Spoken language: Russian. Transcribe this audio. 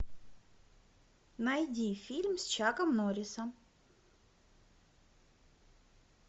найди фильм с чаком норрисом